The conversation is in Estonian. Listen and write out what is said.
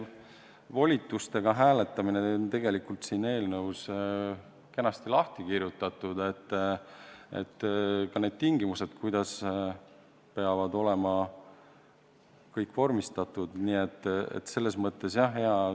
Volitustega hääletamine on siin eelnõus kenasti lahti kirjutatud, ka need tingimused, kuidas peab kõik vormistatud olema.